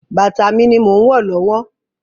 Bàtà mi ni mò ń wọ̀ lọ́wọ́.